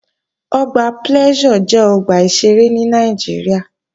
Ọgbà Pleasure jẹ́ ọgbà ìṣeré ní Nàìjíríà